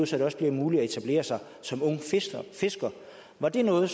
så det også bliver muligt at etablere sig som ung fisker var det noget